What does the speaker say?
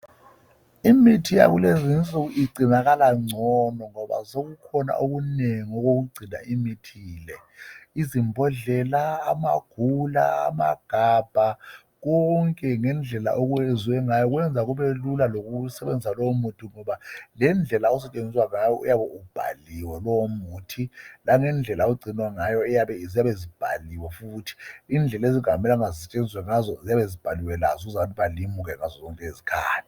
Imithi yakulezinsuku isigcinakala ngcono ngoba sekukhona okunengi okugcinela leyo mithi, izimbodlela, amagula, amagabha, konke ngendlela okwenza ngayo kwenza kubelula langendlela okwenza ngayo kubhaliwe konke ,langendlela okugcinwa ngayo kubhaliwe, langendlela okufuze kusetshenziswe ngazo kuyabe kubhaliwe.